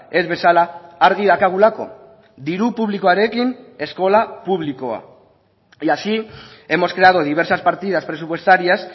ez bezala argi daukagulako diru publikoarekin eskola publikoa y así hemos creado diversas partidas presupuestarias